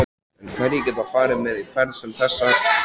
En hverjir geta farið með í ferð sem þessa?